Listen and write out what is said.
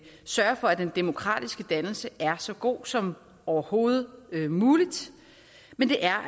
sørge for at den demokratiske dannelse er så god som overhovedet muligt men der er